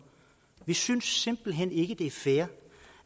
vi synes simpelt hen ikke det er fair